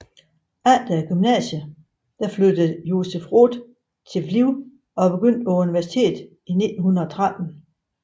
Efter gymnasiet flyttede Joseph Roth til Lviv og begyndte på universitet i 1913